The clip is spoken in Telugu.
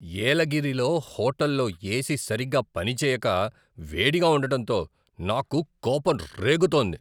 ఏలగిరిలో హోటల్లో ఏసి సరిగ్గా పనిచేయక వేడిగా ఉండడంతో, నాకు కోపం రేగుతోంది.